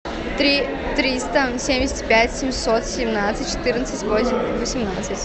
три триста семьдесят пять семьсот семнадцать четырнадцать восемь восемнадцать